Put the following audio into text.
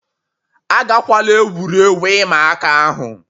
Agakwala egwuregwu ịma aka ahụ